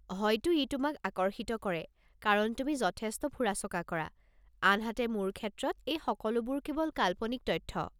হয়তো ই তোমাক আকৰ্ষিত কৰে কাৰণ তুমি যথেষ্ট ফুৰা-চকা কৰা; আনহাতে, মোৰ ক্ষেত্ৰত, এই সকলোবোৰ কেৱল কাল্পনিক তথ্য।